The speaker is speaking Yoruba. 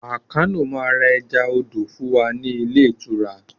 Àkànó máá ń ra ẹja odò fún wa ní ilé ìtura